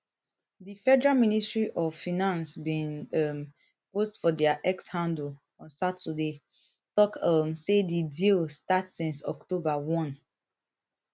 di federal ministry of financebin um post for dia x handleon saturday tok um say di deal start since october one